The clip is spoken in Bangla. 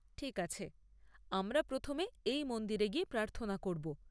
ঠিক আছে, আমরা প্রথমে এই মন্দিরে গিয়ে প্রার্থনা করব।